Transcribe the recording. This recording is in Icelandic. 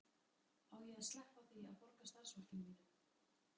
Á ég að sleppa því að borga starfsfólkinu mínu?